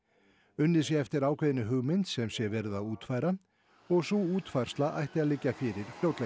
unnið sé eftir ákveðinni hugmynd sem sé verið að útfæra og sú útfærsla ætti að liggja fyrir fljótlega